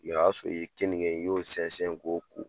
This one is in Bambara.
O y'a sɔrɔ i ye kenige i y'o sɛnsɛn k'o ko.